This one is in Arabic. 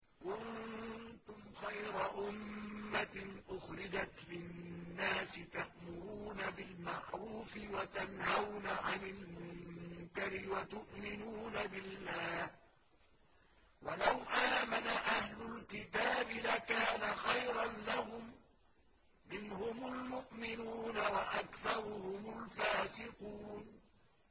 كُنتُمْ خَيْرَ أُمَّةٍ أُخْرِجَتْ لِلنَّاسِ تَأْمُرُونَ بِالْمَعْرُوفِ وَتَنْهَوْنَ عَنِ الْمُنكَرِ وَتُؤْمِنُونَ بِاللَّهِ ۗ وَلَوْ آمَنَ أَهْلُ الْكِتَابِ لَكَانَ خَيْرًا لَّهُم ۚ مِّنْهُمُ الْمُؤْمِنُونَ وَأَكْثَرُهُمُ الْفَاسِقُونَ